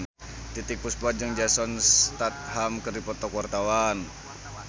Titiek Puspa jeung Jason Statham keur dipoto ku wartawan